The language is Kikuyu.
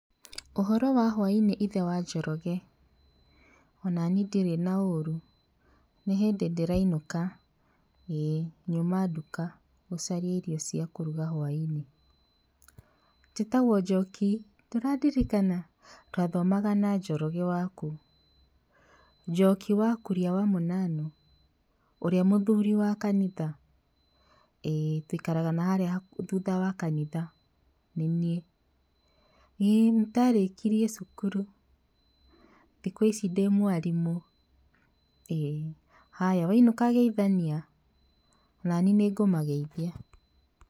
''Ũhoro wa hwainĩ ithe wa Njoroge? onani ndirĩ na ũru ,nĩhĩndĩ ndĩrainũka, ĩĩ nyuma nduka gũcaria indo cia kũruga hwaĩinĩ, njĩtagwo Njoki ndũrandirikana? twathomaga na Njoroge waku, Njoki wa kũria wa Mũnanu, ũrĩa mũthuri wa kanitha, ĩĩ twĩikaraga harĩa thutha wa kanitha, nĩ niĩ, ii nĩndarĩkirie cukuru, thikũ ici ndĩ mwarimũ, ĩĩ haya wainũka geithania, nani nĩngũmageithia.''